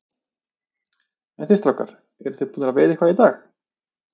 En þið strákar, eruð þið búnir að veiða eitthvað í dag?